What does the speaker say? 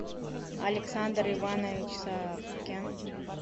александр иванович савкин